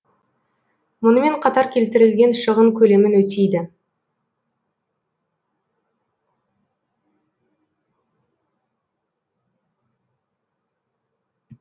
мұнымен қатар келтірілген шығын көлемін өтейді